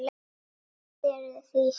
Kvíðirðu því starfi?